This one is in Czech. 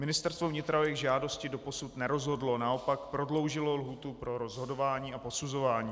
Ministerstvo vnitra o jejich žádosti doposud nerozhodlo, naopak prodloužilo lhůtu pro rozhodování a posuzování.